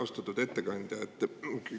Austatud ettekandja!